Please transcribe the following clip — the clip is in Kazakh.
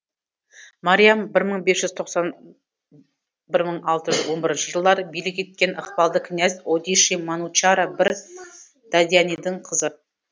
мариам бір мың бес жүз тоқсан бір мың алты жүз он бірінші жылдары билік еткен ықпалды князь одиши манучара бір даданидің қызы